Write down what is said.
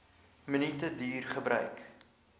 minute duur gebruik